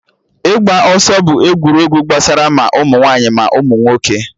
Ịgba ọsọ bụ egwuregwu gbasara ma ụmụ nwaanyị ma ụmụ nwoke